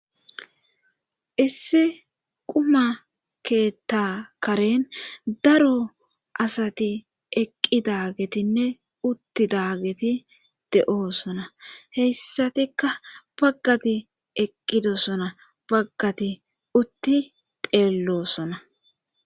issi quma keetta karen daro asati eqqi dagetinne utti daageti de7oosona heyssatikka baggati eqqidosona baggati utti deello sona